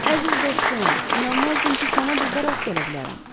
Əziz dostum, inanmazdım ki, sənə burda rast gələ bilərəm.